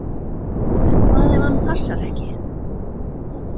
En hvað ef hann passar ekki?